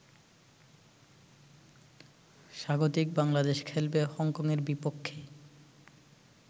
স্বাগতিক বাংলাদেশ খেলবে হংকংয়ের বিপক্ষে